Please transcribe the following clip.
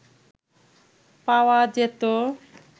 পাওয়া যেতো